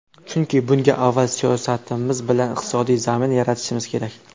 Chunki bunga avval siyosatimiz bilan iqtisodiy zamin yaratishimiz kerak .